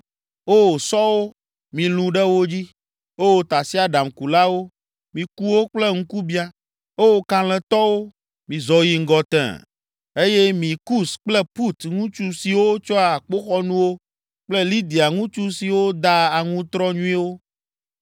O, sɔwo, milũ ɖe wo dzi! O, tasiaɖamkulawo, miku wo kple ŋkubiã! O, kalẽtɔwo, mizɔ yi ŋgɔ tẽe, eye mi Kus kple Put ŋutsu siwo tsɔa akpoxɔnuwo kple Lidia ŋutsu siwo daa aŋutrɔ nyuie!